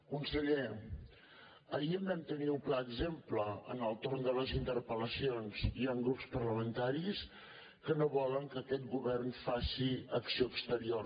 conseller ahir en vam tenir un clar exemple en el torn de les interpel·lacions hi han grups parlamentaris que no volen que aquest govern faci ac·ció exterior